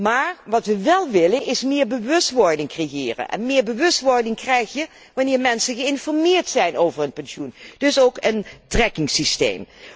Maar wat wij wél willen, is meer bewustwording creëren, en meer bewustwording krijg je wanneer mensen geïnformeerd zijn over hun pensioen, dus ook een tracking systeem.